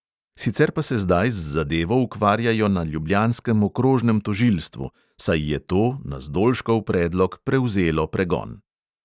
Sicer pa se zdaj z zadevo ukvarjajo na ljubljanskem okrožnem tožilstvu, saj je to, na zdolškov predlog, prevzelo pregon.